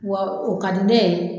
Wa o ka di ne ye.